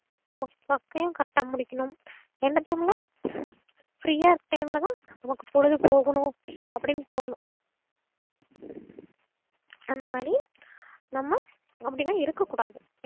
நமக்கு work யையும் correct ஆ முடிக்கணும் எந்த time ல free யா இருக்க time ல தான் நமக்கு பொழுதுபோகனும் அப்டின்னு தோணும் அந்தமாறி நம்ம அப்டிலா இருக்கக்கூடாது